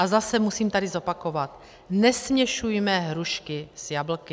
A zase musím tady zopakovat, nesměšujme hrušky s jablky!